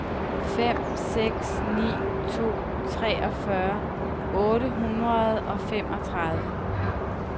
fem seks ni to treogfyrre otte hundrede og femogtredive